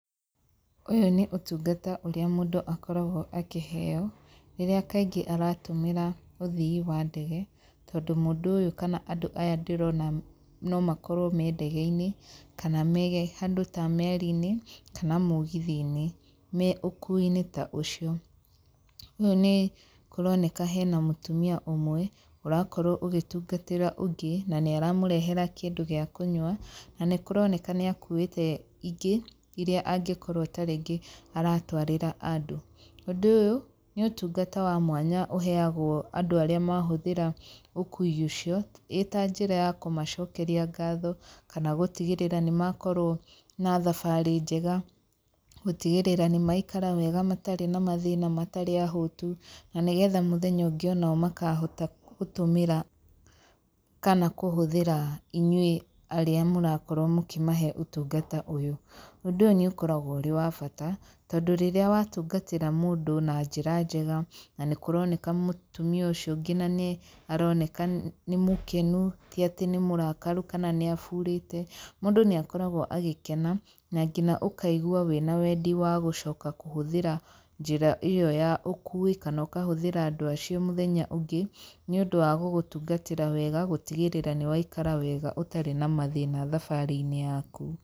Ũyũ nĩ ũtungata ũrĩa mũndũ akoragwo akĩheyo rĩrĩa kaingĩ aratũmĩra ũthii wa ndege, tondũ mũndũ ũyũ kana andũ aya ndĩrona no makorwo me ndege-inĩ, kana me handũ ta meri-inĩ, kana mũgithi-inĩ, me ũkui-inĩ ta ũcio. Ũyũ nĩ kũroneka hena mũtumia ũmwe ũrakorwo ũgĩtungatĩra ũngĩ, na nĩaramũrehera kĩndũ gĩa kũnywa na nĩkũroneka nĩakuĩte ingĩ iria angĩkorwo ta rĩngĩ aratwarĩra andũ. Ũndũ ũyũ nĩ ũtungata wa mwanya ũheyagwo andũ arĩa mahũthĩra ũkui ũcio, ĩta njĩra ya kũmacokeria ngatho, kana gũtigĩrĩra nĩmakorwo na thabarĩ njega. Gũtigĩrĩra nĩmaikara wega matarĩ na mathĩna matarĩ ahũtu, na nĩgetha mũthenya ũngĩ makahota gũtũmĩra kana kũhũthĩra inyuĩ arĩa mũrakorwo mũkĩmahe ũtungata ũyũ. Ũndũ ũyũ nĩũkoragwo ũrĩ wabata, tondũ rĩrĩa watungatĩra mũndũ na njĩra njega. Na nĩkũroneka nginya mũtumia ũcio nĩaroneka nginya nĩ mũkenu ti atĩ nĩ mũrakaru kana nĩ aburĩte, mũndũ nĩakoragwo agĩkena na nginya ũkaigwa wĩna wendi wa gũcoka kũhũthĩra njĩra ĩyo ya ũkui, kana ũkahũthĩra andũ acio mũthenya ũngĩ nĩũndũ wa gũgũtungatĩra wega na gũtigĩrĩra nĩ waikara wega ũtarĩ na mathĩna thabarĩ-inĩ yaku.